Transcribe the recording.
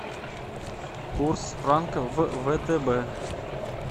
курс франка в втб